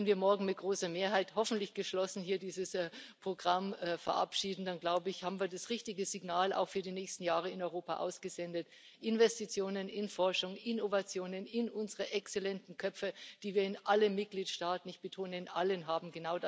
Wenn wir morgen mit großer Mehrheit hoffentlich geschlossen hier dieses Programm verabschieden, dann haben wir das richtige Signal auch für die nächsten Jahre in Europa ausgesendet Investitionen in Forschung, Innovationen, in unsere exzellenten Köpfe, die wir in allen Mitgliedstaaten ich betone in allen haben.